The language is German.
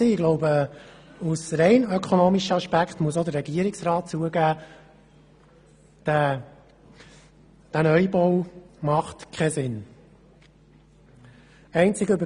Ich glaube, aus rein ökonomischer Sicht muss auch der Regierungsrat zugeben, dass der Neubau keinen Sinn macht.